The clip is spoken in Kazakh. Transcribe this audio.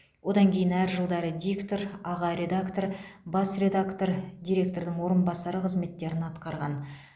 одан кейін әр жылдары диктор аға редактор бас редактор директордың орынбасары қызметтерін атқарған